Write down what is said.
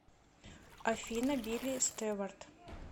афина билли стеварт